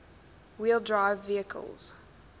wheel drive vehicles